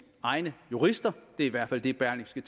egne jurister det er i hvert fald det berlingske